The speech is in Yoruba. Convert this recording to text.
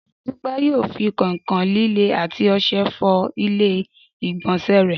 Dúpẹ́ yóò fi kọ̀ìnkọ̀ìn líle àti ọṣẹ fọ ilé ìgbọ̀nsẹ̀ rẹ̀